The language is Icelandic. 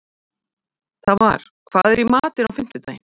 Tamar, hvað er í matinn á fimmtudaginn?